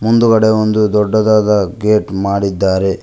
ಮುಂದುಗಡೆ ಒಂದು ದೊಡ್ಡದಾದ ಗೇಟ್ ಮಾಡಿದ್ದಾರೆ.